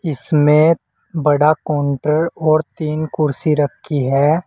इसमें बड़ा काउंटर और तीन कुर्सी रखी है।